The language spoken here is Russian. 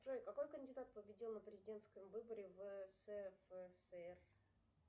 джой какой кандидат победил на президентском выборе в ссср